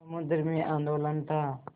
समुद्र में आंदोलन था